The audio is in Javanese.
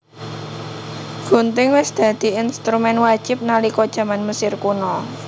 Gunting wis dadi instrumén wajib nalika jaman Mesir Kuna